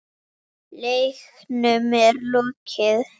Leiknum er lokið.